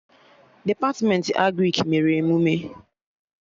Depatmentị Agrịk mere emụme